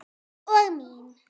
Og mín.